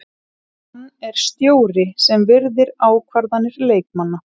Hann er stjóri sem virðir ákvarðanir leikmanna.